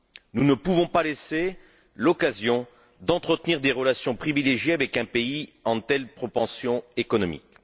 Nous ne pouvons pas laisser l'occasion d'entretenir des relations privilégiées avec un pays qui connaît une telle croissance économique.